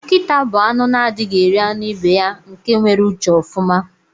Nkita bu anụ na adighi eri anụ ibeya nke nwere uche ofụma.